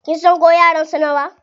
Kin san ko yaran sa nawa?